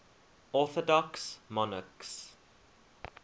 orthodox monarchs